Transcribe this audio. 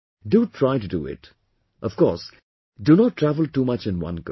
Do try to do it; of course do not travel too much in one go